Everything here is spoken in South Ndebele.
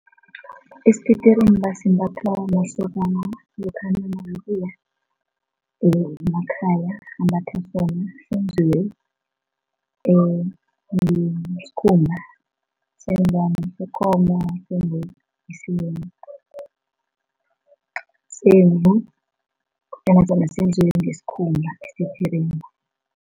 Isititirimba simbathwa masokana lokha nakabuya emakhaya, ambatha sona, senziwe ngesikhumba, its either ngesekomo semvu kodwana sona senziwe ngesikhumba isititirimba.